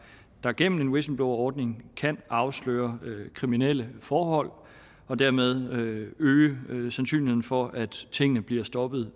der gennem en whistleblowerordning kan afsløre kriminelle forhold og dermed øge øge sandsynligheden for at tingene bliver stoppet